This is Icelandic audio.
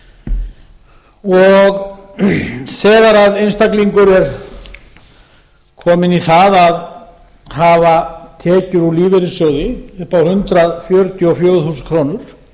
í almannatryggingum þegar einstaklingur er kominn í það að hafa tekjur úr lífeyrissjóði upp á hundrað fjörutíu og fjögur þúsund krónur